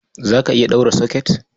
Za ka iya ɗaura